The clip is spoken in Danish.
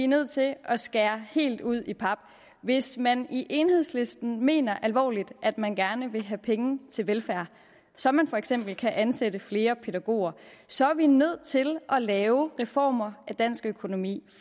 nødt til at skære helt ud i pap hvis man i enhedslisten mener alvorligt at man gerne vil have penge til velfærd så man for eksempel kan ansætte flere pædagoger så er vi nødt til at lave reformer af dansk økonomi